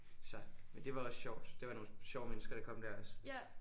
Så men det var også sjovt det var nogle sjove mennesker der kom der også